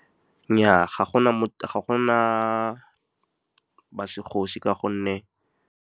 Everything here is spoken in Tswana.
Nnyaa, ga gona ba segosi ka gonne.